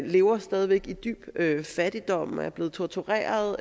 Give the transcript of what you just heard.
lever stadig væk i dyb fattigdom er blevet tortureret og